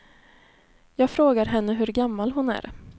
Jag frågar henne hur gammal hon är.